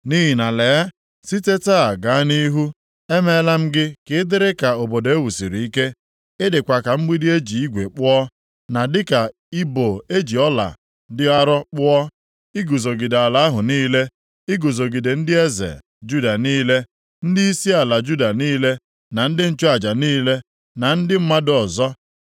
Nʼihi na lee, site taa gaa nʼihu emeela m gị ka ị dịrị ka obodo e wusiri ike. Ị dịkwa ka mgbidi e ji igwe kpụọ, na dịka ibo e ji ọla dị arọ kpụọ, iguzogide ala ahụ niile. Iguzogide ndị eze Juda niile, ndịisi ala Juda niile, na ndị nchụaja niile, na ndị mmadụ ọzọ.